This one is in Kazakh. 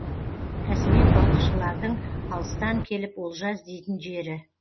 кәсіби балықшылардың алыстан келіп олжа іздейтін жері